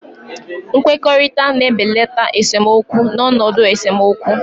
Nkwekọrịta na-ebelata esemokwu n'ọnọdụ esemokwu.